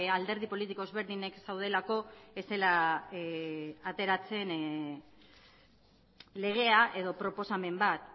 alderdi politiko ezberdinek zeudelako ez zela ateratzen legea edo proposamen bat